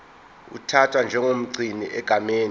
uthathwa njengomgcini egameni